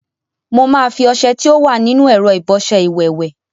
Mo máa fi ọṣẹ tí ó wà nínú ẹ̀rọ ìbọṣẹ iwẹ̀ wẹ̀.